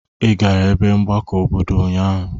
Ị gara ebe mgbakọ obodo ụnyaahụ?